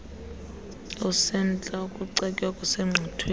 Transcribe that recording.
osemtsha ukucetywa okusengqiqweni